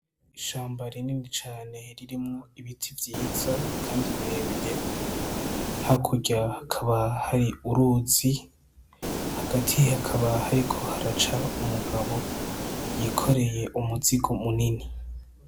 Ishamba rinini cane ririmwo ibiti vyiza, kandi birebire ha kurya akaba hari uruzi hagati hakaba hariko haraca umugabo yikoreye umuzigo munini.